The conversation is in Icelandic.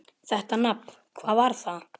Þetta nafn: hvað var það?